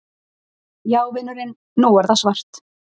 Já vinurinn. nú er það svart!